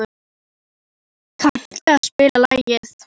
Elínór, kanntu að spila lagið „Stál og hnífur“?